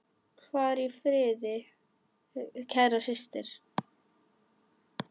Far í friði, kæra systir.